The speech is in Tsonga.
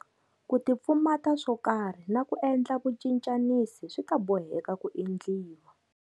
Ku tipfumata swo karhi na ku endla vucincanisi swi ta boheka ku endliwa.